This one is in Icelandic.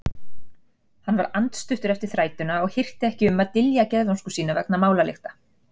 Hann var andstuttur eftir þrætuna og hirti ekki um að dylja geðvonsku sína vegna málalykta.